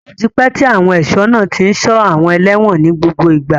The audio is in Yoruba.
Ó ti pẹ́ tí àwọn ẹ̀ṣọ́ náà tí ń ṣọ́ àwọn ẹlẹ́wọ̀n ní gbogbo ìgbà.